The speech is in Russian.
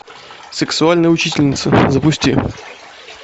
сексуальная учительница запусти